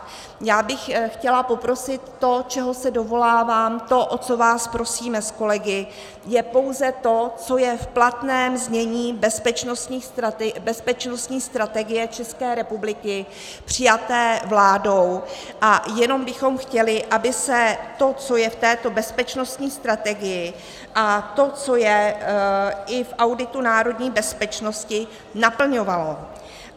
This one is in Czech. Já bych chtěla poprosit - to, čeho se dovolávám, to, o co vás prosíme s kolegy, je pouze to, co je v platném znění Bezpečnostní strategie České republiky přijaté vládou, a jenom bychom chtěli, aby se to, co je v této Bezpečnostní strategii, a to, co je i v Auditu národní bezpečnosti naplňovalo.